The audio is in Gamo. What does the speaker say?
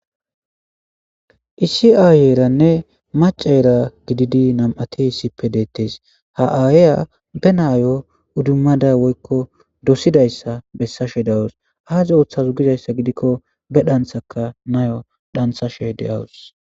isi aayyeeranne maceera gididi nam7ati hissipe deettes ha7aayeya be naayo uddummada woykko dosidayssa bessashe dawus aaze ooththazu gidayssa gidikko be dhanthakka nayo dhanthashe de7awus